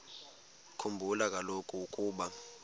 khumbula kaloku ukuba